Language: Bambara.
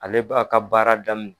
Ale b'a ka baara daminɛ